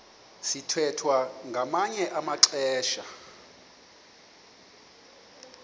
sithwethwa ngamanye amaxesha